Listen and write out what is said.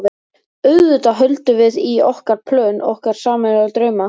auðvitað höldum við í okkar plön, okkar sameiginlegu drauma.